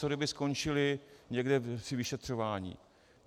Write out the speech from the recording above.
Co kdyby skončili někde při vyšetřování?